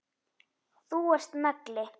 Þú varst nagli.